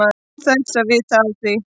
Án þess að vita af því.